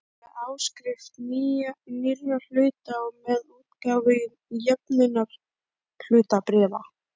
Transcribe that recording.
með áskrift nýrra hluta og með útgáfu jöfnunarhlutabréfa.